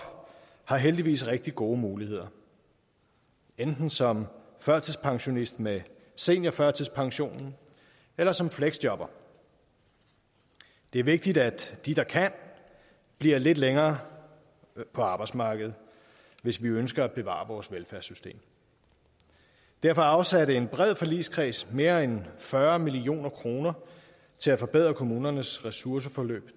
har heldigvis rigtig gode muligheder enten som førtidspensionist med seniorførtidspension eller som fleksjobber det er vigtigt at de der kan bliver lidt længere på arbejdsmarkedet hvis vi ønsker at bevare vores velfærdssystem derfor afsatte en bred forligskreds mere end fyrre million kroner til at forbedre kommunernes ressourceforløb